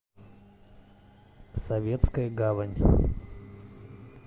советская гавань